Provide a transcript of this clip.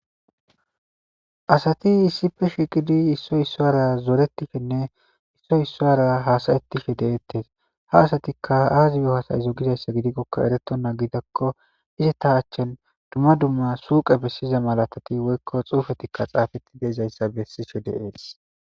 Asati issippe shiiqidi issoy issara hasayishenne issoy issara zoretishe de'etes ha asatika Azi yo hasa'izo gikoka eretonta ixikon izeta achan duma duma suyqeta bessiza misiley woyko xuufey xaafetidi de'es.